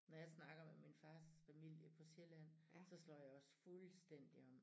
Når jeg snakker med min fars familie fra Sjælland så slår jeg også fuldstændig om